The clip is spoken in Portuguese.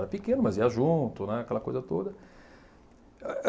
Era pequeno, mas ia junto, né, aquela coisa toda.